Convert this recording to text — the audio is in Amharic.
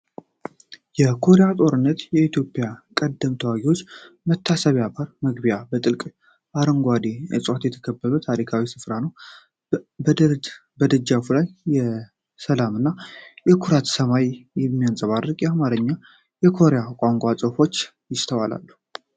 የኮሪያ ጦርነት የኢትዮጵያ ቀደምት ተዋጊዎች መታሰቢያ ፓርክ መግቢያ፤ በጥልቅ አረንጓዴ እፅዋት የተከበበ ታሪካዊ ስፍራ ነው። በደጃፉ ላይ የሰላም እና የኩራት ስሜት የሚያንፀባርቁ የአማርኛና የኮርያ ቋንቋ ጽሑፎች ይስተዋላሉ።